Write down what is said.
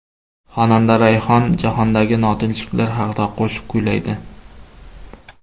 Xonanda Rayhon jahondagi notinchliklar haqida qo‘shiq kuylaydi.